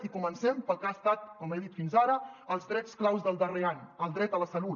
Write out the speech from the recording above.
i comencem pel que han estat com he dit fins ara els drets clau del darrer any el dret a la salut